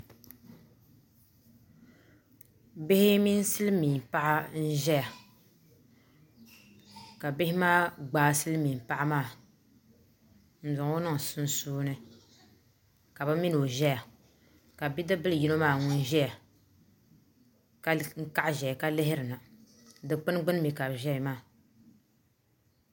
Bihi mini silmiin paɣa n ʒɛya ka bihi maa gbaai silmiin paɣa maa n zaŋɔ niŋ sunsuuni ka bi mini o ʒɛya ka bidib bili yino maa ŋun ʒɛya kw kaɣa ʒɛya ka lihiri na dikpuni mii gbuni ka bi ʒɛya maa